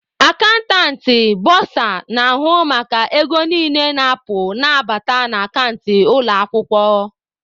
Akantantị/ bọsa na-ahụ maka ego niile na-apụ ma na-abata na akant ụlọ akwụkwọ.